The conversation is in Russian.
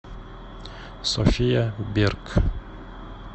софия берг